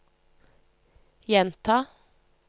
gjenta